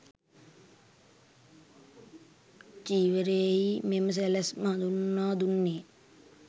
චීවරයෙහි මෙම සැලැස්ම හඳුන්වා දුන්නේ